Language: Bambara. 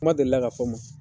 Kuma deli la ka fɔ n ma.